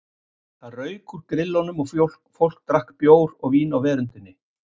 Þá rauk úr grillunum og fólk drakk bjór og vín á veröndinni.